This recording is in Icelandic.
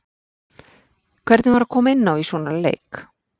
Hvernig var að koma inná í svona leik?